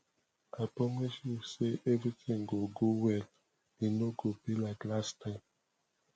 i promise you say everything go go well e no go be like last time